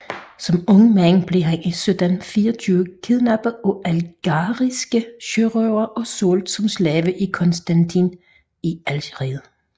Som ung mand blev han i 1724 kidnappet af algeriske sørøvere og solgt som slave i Constantine i Algeriet